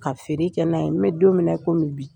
Ka feere kɛ n'a ye,n bɛ don min na i komi bi.